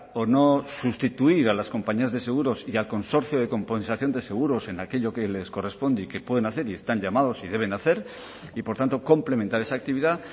o no sustituir a las compañías de seguros y al consorcio de compensación de seguros en aquello que les corresponde y que pueden hacer y están llamados y deben hacer y por tanto complementar esa actividad